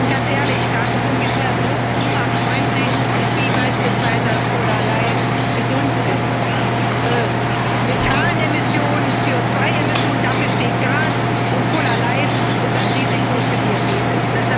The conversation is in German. Ganz ehrlich Gas ist ungefähr so klimafreundlich wie beispielsweise Cola light gesund ist. Methan Emissionen, CO2 Emissionen dafür steht Gas, und Cola light ist ein Risiko für Diabetes.